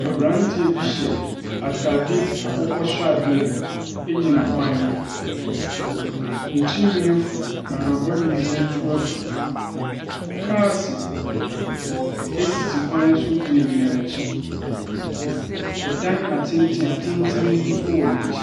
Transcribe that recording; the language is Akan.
Abranteɛ bi hyɛ ataade akokɔ sradeɛ gyina kwan ho. Ne tiri nwii afu na n’abɔdwesɛ nso afu. Kaase sisi kwan no so gyinagyina n’akyi. ℇdan atentenatenten nso wɔ n’akyi.